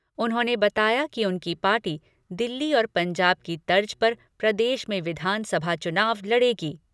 उन्होंने बताया कि उनकी पार्टी दिल्ली और पंजाब की तर्ज पर प्रदेश में विधानसभा चुनाव लड़ेगी।